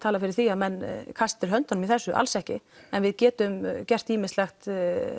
tala fyrir því að menn kasti til höndunum í þessu alls ekki en við getum gert ýmislegt